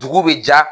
Dugu bɛ ja